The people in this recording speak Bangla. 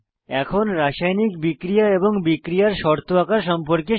এখন রাসায়নিক বিক্রিয়া এবং বিক্রিয়ার শর্ত আঁকা সম্পর্কে শিখি